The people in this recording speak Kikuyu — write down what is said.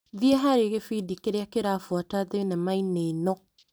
Thiĩ harĩ gĩbindi kĩrĩa kĩrabuata thinema-inĩ ĩno .